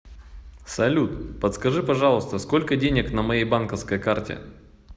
салют подскажи пожалуйста сколько денег на моей банковской карте